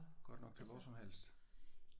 Godt nok til hvor som helst?